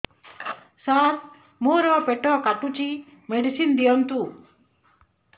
ସାର ମୋର ପେଟ କାଟୁଚି ମେଡିସିନ ଦିଆଉନ୍ତୁ